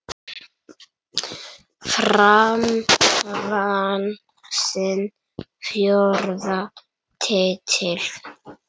Fram vann sinn fjórða titil.